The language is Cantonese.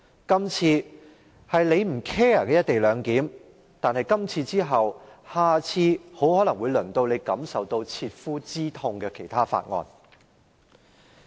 今次是你不關心的"一地兩檢"，但下次很可能會輪到讓你感受到切膚之痛的其他法案。